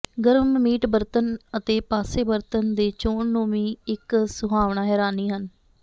ਗਰਮ ਮੀਟ ਬਰਤਨ ਅਤੇ ਪਾਸੇ ਬਰਤਨ ਦੇ ਚੋਣ ਨੂੰ ਵੀ ਇੱਕ ਸੁਹਾਵਣਾ ਹੈਰਾਨੀ ਹਨ